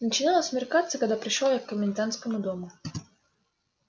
начинало смеркаться когда пришёл я к комендантскому дому